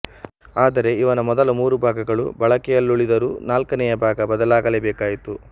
ಆದರೆ ಇವನ ಮೊದಲ ಮೂರು ಭಾಗಗಳು ಬಳಕೆಯಲ್ಲುಳಿದರೂ ನಾಲ್ಕನೆಯ ಭಾಗ ಬದಲಾಗಲೇ ಬೇಕಾಯಿತು